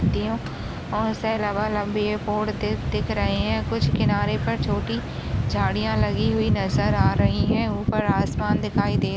देख दिख रहे है कुछ किनारे पर छोटी झाडिया लगी हुई नजर आ रही है ऊपर आसमान दिखाई दे--